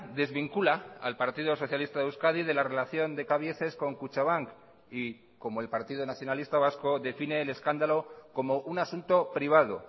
desvincula al partido socialista de euskadi de la relación de cabieces con kutxabank y como el partido nacionalista vasco define el escándalo como un asunto privado